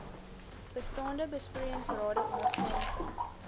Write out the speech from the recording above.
bestaande besproeiingsrade ondergrondse